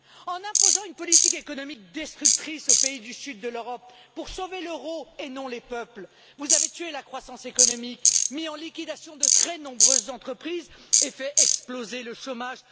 En imposant une politique économique destructrice aux pays du sud de l'Europe pour sauver l'euro et non les peuples, vous avez tué la croissance économique, mis en liquidation de très nombreuses entreprises et fait exploser le chômage.